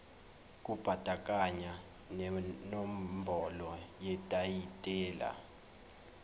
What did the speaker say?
kubandakanya nenombolo yetayitela